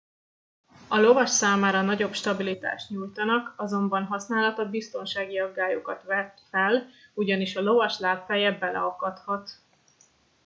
a lovas számára nagyobb stabilitást nyújtanak azonban használata biztonsági aggályokat vet fel ugyanis a lovas lábfeje beleakadhat